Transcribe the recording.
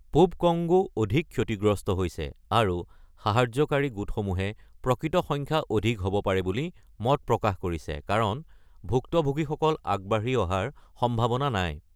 পূব কংগো অধিক ক্ষতিগ্ৰস্ত হৈছে, আৰু সাহায্যকাৰী গোটসমূহে প্ৰকৃত সংখ্যা অধিক হ’ব পাৰে বুলি মত প্ৰকাশ কৰিছে কাৰণ ভুক্তভোগীসকল আগবাঢ়ি অহাৰ সম্ভাৱনা নাই।